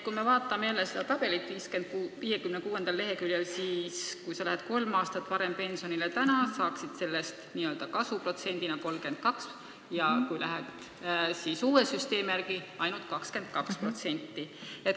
Kui me vaatame jälle seda tabelit 56. leheküljel, siis näeme, et kui sa lähed praegu kolm aastat hiljem pensionile, siis sa saad selle eest n-ö kasu 32% näol, aga kui lähed uue süsteemi kehtimise ajal, siis ainult 22%.